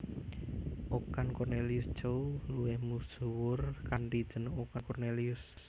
Okan Kornelius Tjeuw luwih misuwur kanthi jeneng Okan Cornelius